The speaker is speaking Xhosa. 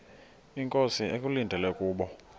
inkosi ekulindele kubo